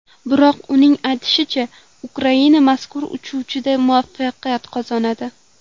Biroq uning aytishicha, Ukraina mazkur uchrashuvda muvaffaqiyat qozonadi.